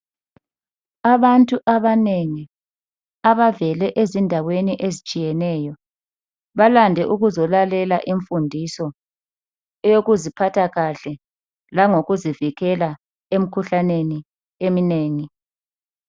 Abantu abanengi abavela ezindaweni ezitshiyeneyo balande ukuzolalela imfundiso eyokuziphatha kahle langokuzivikela emikhuhlaneni eminengi.